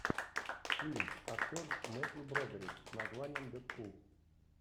фильм актер мэттью бродерик с названием дэдпул